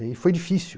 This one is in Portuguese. E foi difícil.